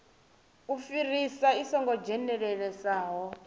u fhirisa i songo dzhenelelesaho